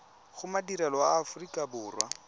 go madirelo a aforika borwa